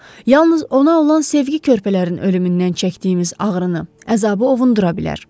Yalnız ona olan sevgi körpələrin ölümündən çəkdiyimiz ağrını, əzabı ovundura bilər.